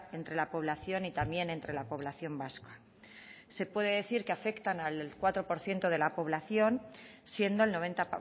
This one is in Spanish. entre la población y también entre la población vasca se puede decir que afectan al cuatro por ciento de la población siendo el noventa